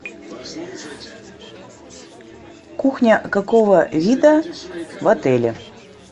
кухня какого вида в отеле